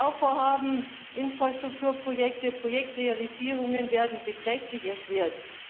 Bauvorhaben, Infrastrukturprojekte, Projektrealisierungen werden beträchtlich erschwert.